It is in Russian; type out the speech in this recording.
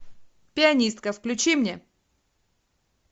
пианистка включи мне